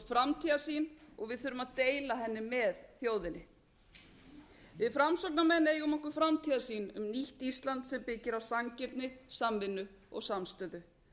framtíðarsýn við þurfum að deila henni með þjóðinni við framsóknarmenn eigum okkur framtíðarsýn um nýtt ísland sem byggir á sanngirni samvinnu og samstöðu